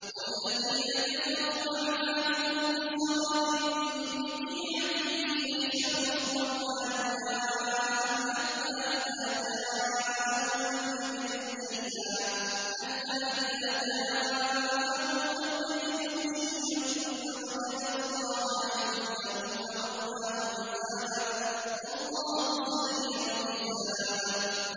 وَالَّذِينَ كَفَرُوا أَعْمَالُهُمْ كَسَرَابٍ بِقِيعَةٍ يَحْسَبُهُ الظَّمْآنُ مَاءً حَتَّىٰ إِذَا جَاءَهُ لَمْ يَجِدْهُ شَيْئًا وَوَجَدَ اللَّهَ عِندَهُ فَوَفَّاهُ حِسَابَهُ ۗ وَاللَّهُ سَرِيعُ الْحِسَابِ